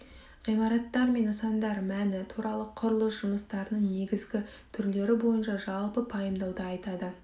ғимараттар мен нысандар мәні туралы құрылыс жұмыстарының негізгі түрлері бойынша жалпы пайымдауды айтады